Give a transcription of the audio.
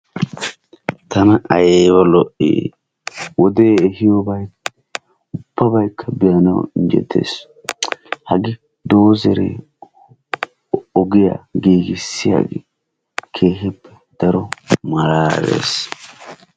Tana ayba lo"ii wodee ehiyobayi ubbabaykka be"anawu injjetes. Hagee doozeree ogiya giigissiyage keehippe daro malaalees.